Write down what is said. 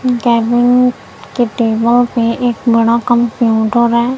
Kevin के table पे एक बड़ा कंप्यूटर है।